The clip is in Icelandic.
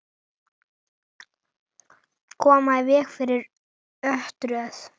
Koma í veg fyrir örtröð.